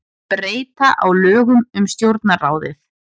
Breyta á lögum um Stjórnarráðið